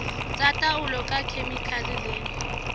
tsa taolo ka dikhemikhale le